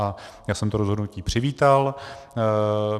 A já jsem to rozhodnutí přivítal.